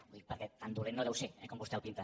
ho dic perquè tan dolent no deu ser eh com vostè el pinta